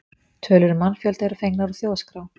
Tölur um mannfjölda eru fengnar úr Þjóðskrá.